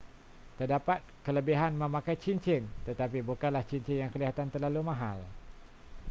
terdapat kelebihan memakai cincin tetapi bukanlah cincin yang kelihatan terlalu mahal